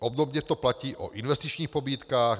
obdobně to platí o investičních pobídkách;